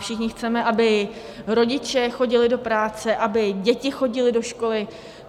Všichni chceme, aby rodiče chodili do práce, aby děti chodily do školy.